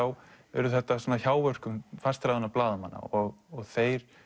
urðu þetta hjáverk fastráðinna blaðamanna þeir